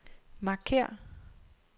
markér